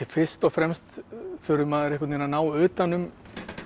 fyrst og fremst þurfi maður að ná utan um